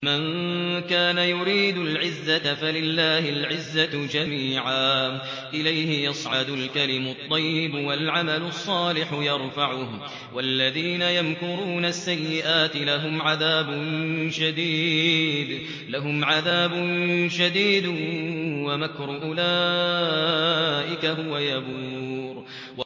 مَن كَانَ يُرِيدُ الْعِزَّةَ فَلِلَّهِ الْعِزَّةُ جَمِيعًا ۚ إِلَيْهِ يَصْعَدُ الْكَلِمُ الطَّيِّبُ وَالْعَمَلُ الصَّالِحُ يَرْفَعُهُ ۚ وَالَّذِينَ يَمْكُرُونَ السَّيِّئَاتِ لَهُمْ عَذَابٌ شَدِيدٌ ۖ وَمَكْرُ أُولَٰئِكَ هُوَ يَبُورُ